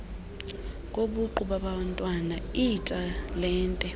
kobuqu babantwana iitalente